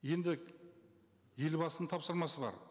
енді елбасының тапсырмасы бар